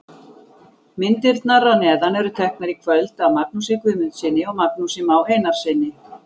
Myndirnar að neðan eru teknar í kvöld af Magnúsi Guðmundssyni og Magnúsi Má Einarssyni.